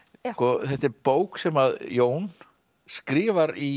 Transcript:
þetta er bók sem Jón skrifar í